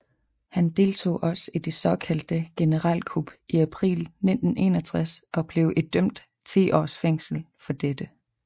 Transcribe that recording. Han deltog også i det såkaldte generalkup i april 1961 og blev idømt 10 års fængsel for dette